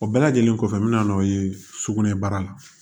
O bɛɛ lajɛlen kɔfɛ n bɛna n'o ye sugunɛbara la